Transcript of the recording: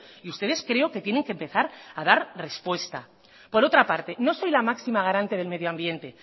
y ustedes creo que tienen que empezar a dar respuesta por otra parte no soy la máxima garante del medio ambiente